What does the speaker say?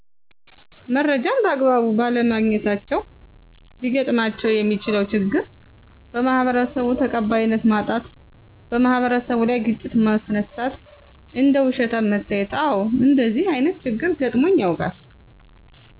መረጃን በአግባቡ ባለማግኘታቸው ሊገጥማቸው የሚችለው ችግር:- - በማህበረሰቡ ተቃባይነት ማጣት - በማህበረሰቡ ላይ ግጭት ማስነሳት - እንደ ውሸታም መታየት አዎ እንደዚህ አይነት ችግር ገጥሞኝ ያውቃል።